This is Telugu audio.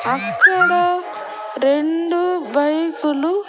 అక్కడ రెండు బైకులు .